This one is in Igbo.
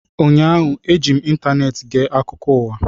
Ụnyaahụ, eji m ịntaneetị ege akụkọ ụwa